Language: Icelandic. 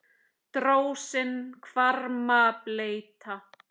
Drósir hvarma bleyta.